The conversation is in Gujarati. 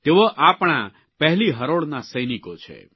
તેઓ આપણા પહેલી હરોળના સૈનિકો છે